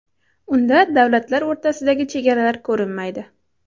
Unda davlatlar o‘rtasidagi chegaralar ko‘rinmaydi.